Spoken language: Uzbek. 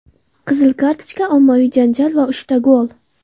Qizil kartochka, ommaviy janjal va uchta gol.